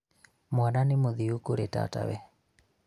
mwana nĩ mũthiu kũrĩ tatawe